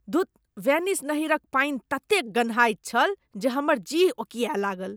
धुत, वेनिस नहरिक पानि ततेक गन्हाइत छल जे हमर जीह ओकिआए लागल।